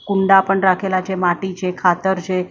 કુંડા પણ રાખેલા છે માટી છે ખાતર છે.